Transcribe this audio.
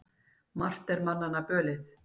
Margt er manna bölið.